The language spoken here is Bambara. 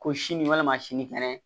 Ko sini walima sini kɛnɛ